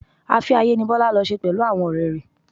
Afẹ́-ayé ni Bọlá lọ ṣe pẹ̀lú àwọn ọrẹ rẹ.